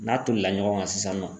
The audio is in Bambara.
N'a tolila ɲɔgɔn kan sisan nɔ.